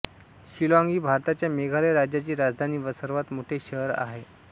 शिलॉँग ही भारताच्या मेघालय राज्याची राजधानी व सर्वात मोठे शहर आहे